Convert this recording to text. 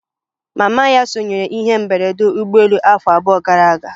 Mama ya sonyere n'ihe mberede ụgbọelu afọ abụọ gara aga